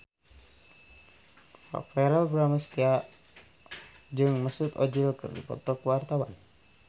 Verrell Bramastra jeung Mesut Ozil keur dipoto ku wartawan